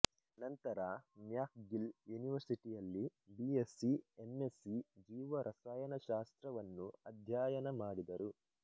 ನಂತರ ಮ್ಯಾಕ್ಗಿಲ್ ಯೂನಿವರ್ಸಿಟಿಯಲ್ಲಿ BSc M Sc ಜೀವರಸಾಯನಶಾಸ್ತ್ರವನ್ನು ಅಧ್ಯಾಯನ ಮಾಡಿದರು